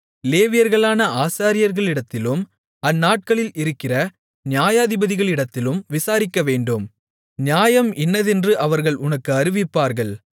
லேவியர்களான ஆசாரியர்களிடத்திலும் அந்நாட்களில் இருக்கிற நியாயாதிபதிகளிடத்திலும் விசாரிக்கவேண்டும் நியாயம் இன்னதென்று அவர்கள் உனக்கு அறிவிப்பார்கள்